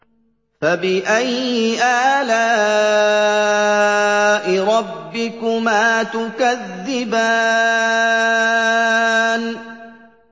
فَبِأَيِّ آلَاءِ رَبِّكُمَا تُكَذِّبَانِ